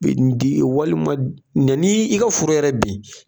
Bi n di walima na ni i ka foro yɛrɛ bin